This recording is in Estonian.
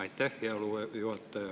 Aitäh, hea juhataja!